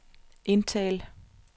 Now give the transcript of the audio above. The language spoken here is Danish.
indtal